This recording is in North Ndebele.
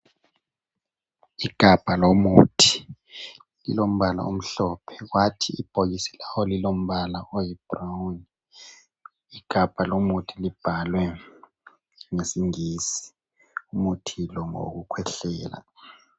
Igabha lomuthi lilombala omhlophe kwathi ibhokisi lawo lilombala oyi "brown". Igabha lomuthi libhalwe ngesingisi, umuthi lo ngowokukhwehlela.